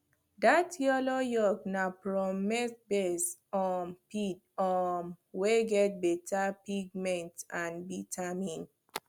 that yellow yolk na from maizebased um feed um wey get better pigment and vitamin